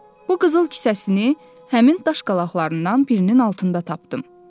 Bu qızıl kisəsini həmin daş qalaqlarından birinin altında tapdım.